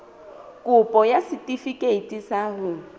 kopo ya setefikeiti sa ho